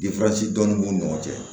dɔɔnin b'u ni ɲɔgɔn cɛ